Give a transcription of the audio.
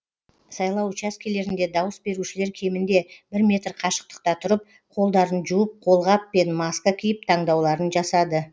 сайлау учаскелерінде дауыс берушілер кемінде бір метр қашықтықта тұрып қолдарын жуып қолғап пен маска киіп таңдауларын жасады